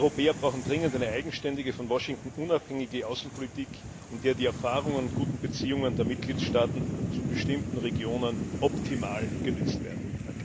Wir Europäer brauchen dringend eine eigenständige, von Washington unabhängige Außenpolitik, in der die Erfahrungen und guten Beziehungen der Mitgliedstaaten zu bestimmten Regionen optimal genutzt werden.